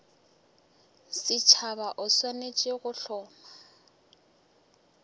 setšhaba o swanetše go hloma